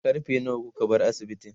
karfe nawa kuka bar asibitin?